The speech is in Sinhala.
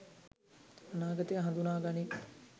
අනාගතය හඳුනා ගනී.